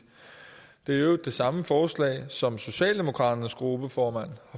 øvrigt det samme forslag som socialdemokraternes gruppeformand